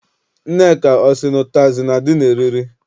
Nneka ọ sị na ụtazị na- adị n'eriri?